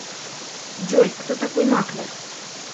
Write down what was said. джой кто такой маклер